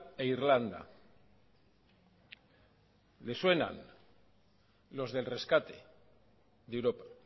e irlanda le suenan los del rescate de europa